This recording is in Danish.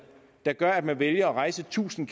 der gør at man vælger at rejse tusind